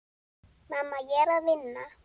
Mamma, ég er að vinna.